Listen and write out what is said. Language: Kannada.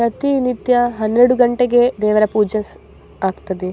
ಪ್ರತಿನಿತ್ಯ ಹನ್ನೆರಡು ಗಂಟೆಗೆ ಪೂಜೆ ಆಗ್ತಾದೆ --